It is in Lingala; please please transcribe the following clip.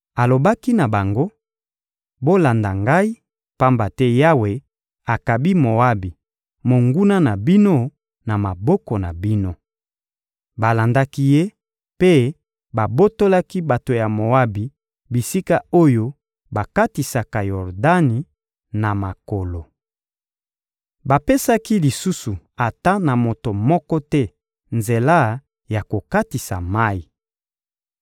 Alobaki na bango: — Bolanda ngai, pamba te Yawe akabi Moabi, monguna na bino, na maboko na bino. Balandaki ye mpe babotolaki bato ya Moabi bisika oyo bakatisaka Yordani na makolo. Bapesaki lisusu ata na moto moko te nzela ya kokatisa mayi.